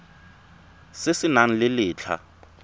se se nang le letlha